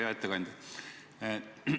Hea ettekandja!